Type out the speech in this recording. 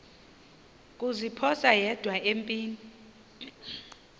kuziphosa yedwa empini